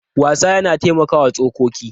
Wasa yana taimakawa tsokoki.